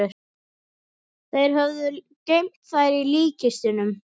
Þeir höfðu geymt þær í líkkistunum.